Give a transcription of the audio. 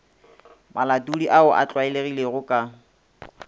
malatodi ao a tlwaelegilego ka